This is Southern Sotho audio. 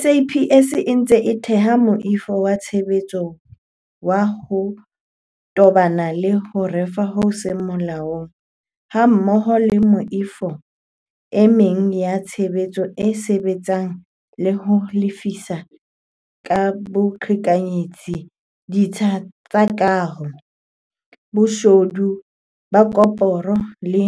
SAPS e ntse e theha moifo wa tshebetso wa ho tobana le ho rafa ho seng molaong, hammoho le meifo e meng ya tshebetso e sebetsanang le ho lefisa ka boqhekanyetsi ditsha tsa kaho, boshodu ba koporo le